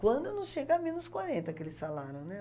Quando não chega a menos quarenta, aquele salário, né?